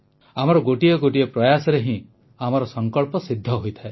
ଆମର ଗୋଟିଏ ଗୋଟିଏ ପ୍ରୟାସରେ ହିଁ ଆମର ସଂକଳ୍ପ ସିଦ୍ଧ ହୋଇଥାଏ